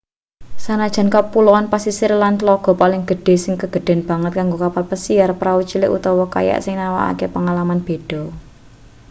sanajan kapuloan pasisir lan tlaga paling gedhe sing kegedhen banget kanggo kapal besiar prau cilik utawa kayak sing nawakake pangalaman beda